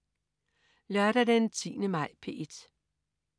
Lørdag den 10. maj - P1: